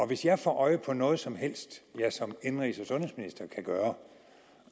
hvis jeg får øje på noget som helst som jeg som indenrigs og sundhedsminister kan gøre